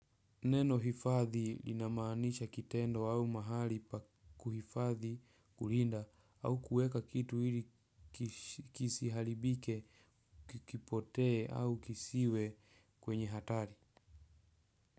Neno hifadhi linamaanisha kitendo au mahali pa kuhifadhi kulinda au kuweka kitu ili kisiharibike kisipotee au kisiwe kwenye hatari.